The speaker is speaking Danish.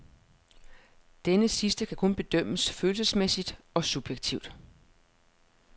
Denne sidste kan kun bedømmes følelsesmæssigt og subjektivt.